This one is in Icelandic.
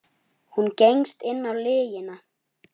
Hún gengst inn á lygina.